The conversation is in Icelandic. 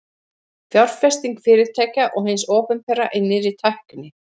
Fjárfesting fyrirtækja og hins opinbera í nýrri tækni.